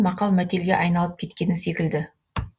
мақал мәтелге айналып кеткені секілді